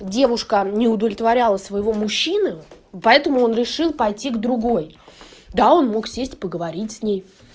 девушка не удовлетворяла своего мужчины поэтому он решил пойти к другой да он мог сесть и поговорить с ней